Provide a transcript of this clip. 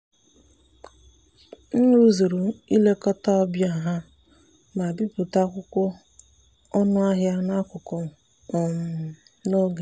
m rụzuru ilekọta ọbịa ha ma bipụta akwụkwọ ọnụahịa n'akụkụ um n'oge.